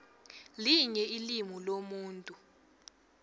linye ilimu lomuntu